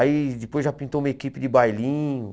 Aí depois já pintou uma equipe de bailinho.